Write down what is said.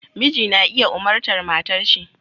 Miji na iya umartar matarshi